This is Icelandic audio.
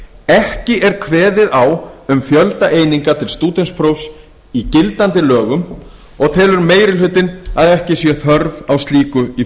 ekki er kveðið á um fjölda eininga til stúdentsprófs í gildandi lögum og telur meiri hlutinn að ekki sé þörf á slíku í